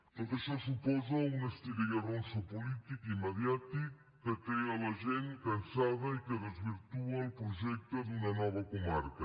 tot això suposa un estira i arronsa polític i mediàtic que té la gent cansada i que desvirtua el projecte d’una nova comarca